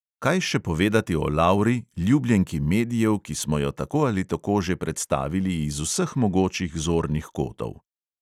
Kaj še povedati o lauri, ljubljenki medijev, ki smo jo tako ali tako že predstavili iz vseh mogočih zornih kotov?